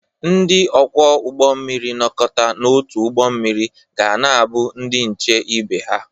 Ndị ọkwọ ụgbọ mmiri nọkọta n'otu ụgbọ mmiri ga na-abụ ndị nche ibe ha.